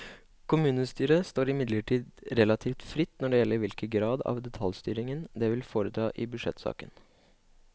Kommunestyret står imidlertid relativt fritt når det gjelder hvilken grad av detaljstyring det vil foreta i budsjettsaken.